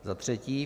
Za třetí.